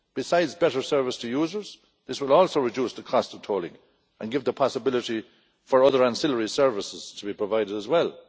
Besides better service to users, this will also reduce the cost of tolling and give the possibility for other ancillary services to be provided as well.